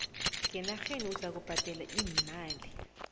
ngenarheni uzakubhadela iimali